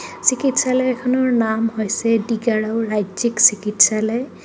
চিকিৎসালয়খনৰ নাম হৈছে ডিগাৰু ৰাজ্যিক চিকিৎসালয়।